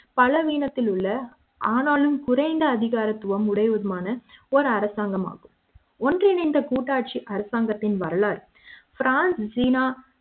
பலவீனத்தில் உள்ள ஆனாலும் குறைந்த அதிகாரத்துவம் உடையவருமான ஒரு அரசாங்கம் ஆகும் ஒன்றிணைந்த கூட்டாட்சி அரசாங்கத்தின் வரலாறு பிரான்ச் சீனா